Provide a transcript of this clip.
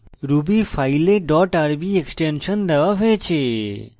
ruby file dot rb extension দেওয়া হয়েছে